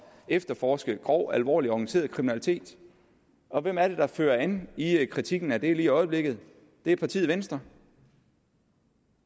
efterforske grov alvorlig organiseret kriminalitet og hvem er det der fører an i kritikken af det lige i øjeblikket det er partiet venstre